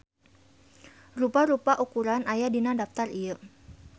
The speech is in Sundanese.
Rupa-rupa ukuran aya dina daptar ieu.